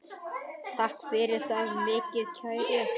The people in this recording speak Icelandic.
Takk fyrir það, minn kæri.